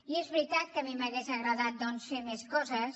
i és veritat que a mi m’hauria agradat doncs fer més coses